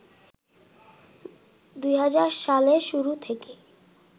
২০০০ সালের শুরু থেকে